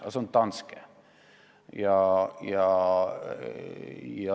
Aga see on Danske!